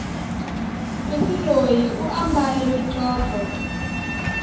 sesi loyi u ambale mitlotlo